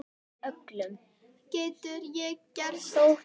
Getur ekki gerst.